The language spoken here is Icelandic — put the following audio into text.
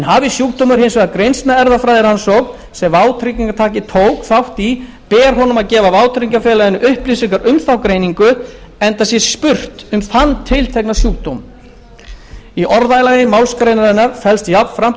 hafi sjúkdómur hins vegar greinst með erfðafræðirannsókn sem vátryggingartaki tók þátt í ber honum að gefa vátryggingafélaginu upplýsingar um þá greiningu enda sé spurt um þann tiltekna sjúkdóm í orðalagi málsgreinarinnar felst jafnframt